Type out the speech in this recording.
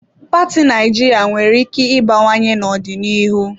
Paati Naịjirịa nwere ike ịbawanye n'ọdịnihu.